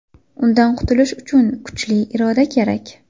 Undan qutulish uchun kuchli iroda kerak.